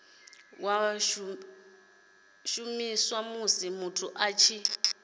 shumiswa musi muthu a tshi